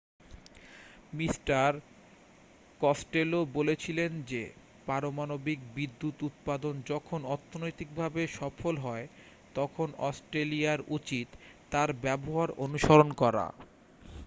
mister Costello বলেছিলেন যে পারমাণবিক বিদ্যুৎ উৎপাদন যখন অর্থনৈতিকভাবে সফল হয় তখন অস্ট্রেলিয়ার উচিত তার ব্যবহার অনুসরণ করা